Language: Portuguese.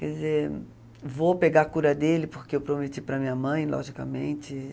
Quer dizer, vou pegar a cura dele porque eu prometi para a minha mãe, logicamente.